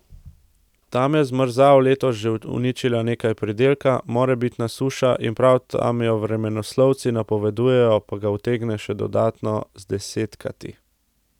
Tam je zmrzal letos že uničila nekaj pridelka, morebitna suša, in prav tam jo vremenoslovci napovedujejo, pa ga utegne še dodatno zdesetkati.